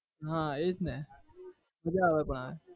હા એ જ ને મજા આવે પણ